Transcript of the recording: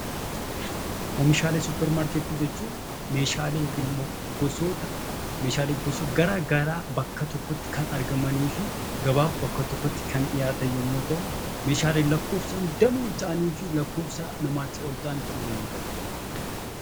Oomishaalee suupermaarkeetii jechuun Meeshaalee Kun immoo gosoota garaagaraa bakka tokkotti kan argamanii fi gabaaf bakka tokkotti dhihaatan yemmuu ta'u, Meeshaaleen lakkoofsaan danuu ta'anii fi lakkoofsa namaatii ol ta'uu danda'an.